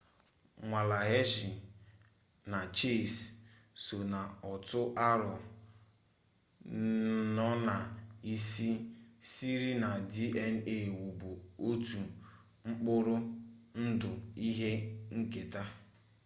nwale hershey na chase so na otu aro no na isi siri na dna wubu otu mkpụrụ ndụ ihe nketa